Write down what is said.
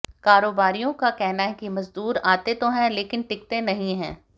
कारोबारियों का कहना है कि मजदूर आते तो हैं लेकिन टिकते नहीं हैं